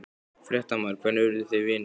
Fréttamaður: Hvernig urðu þið vinir?